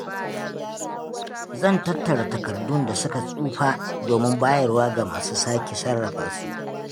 Zan tattara takardun da suka tsufa domin bayarwa ga masu sake sarrafa su.